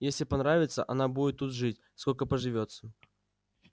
если понравится она будет тут жить сколько поживется